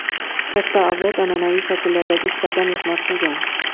Katta avlod an’anaviy shakllardagi ishlarda mehnat qilgan.